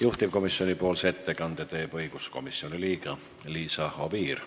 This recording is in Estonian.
Juhtivkomisjoni ettekande teeb õiguskomisjoni liige Liisa Oviir.